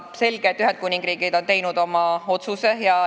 Selge, et Ühendkuningriik on teinud oma otsuse.